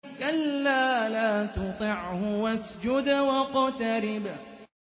كَلَّا لَا تُطِعْهُ وَاسْجُدْ وَاقْتَرِب ۩